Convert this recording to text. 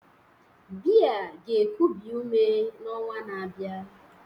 Beer ga-ekubi ume n'ọnwa na-abịa